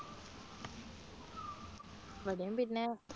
ഇവിടെ പിന്നെ